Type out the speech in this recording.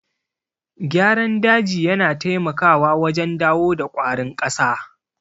Gyaran daji yana taimakawa wajen dawo da ƙwarin ƙasa.